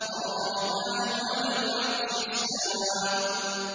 الرَّحْمَٰنُ عَلَى الْعَرْشِ اسْتَوَىٰ